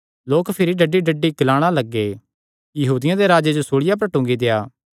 लोक भिरी डड्डीडड्डी ग्लाणा लग्गे यहूदियां दे राजे जो सूल़िया पर टूंगी देआ